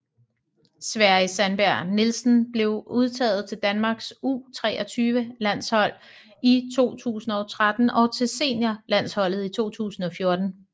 Sverri Sandberg Nielsen blev udtaget til Danmarks U23 landshold i 2013 og til senior landsholdet i 2014